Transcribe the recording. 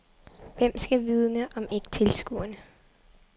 Hvem skal vidne, om ikke tilskuerne?